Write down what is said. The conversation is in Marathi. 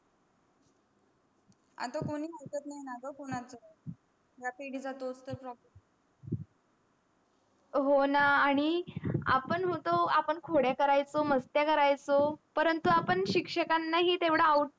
आता कोणी ऐकत नाही ना ग कोणाच रात्री पण हो न आन्ही आपण होतो आपण खोड्या करायचो मस्त्य करायचो परंतु आम्ही सिक्सक नाहि तेवडा out.